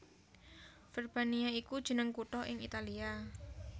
Verbania iku jeneng kutha ing Italia